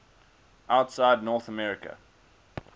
outside north america